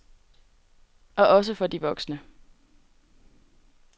Og også for de voksne.